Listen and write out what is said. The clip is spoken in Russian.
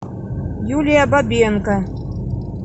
юлия бабенко